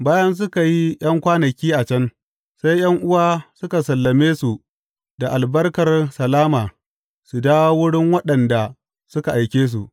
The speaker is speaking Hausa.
Bayan suka yi ’yan kwanaki a can, sai ’yan’uwa suka sallame su da albarkar salama su dawo wurin waɗanda suka aike su.